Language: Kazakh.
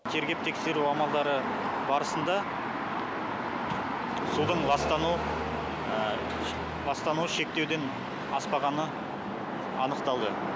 тергеп тексру амалдары барысында судың ластануы шектеуден аспағаны анықталды